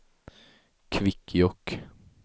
Kvikkjokk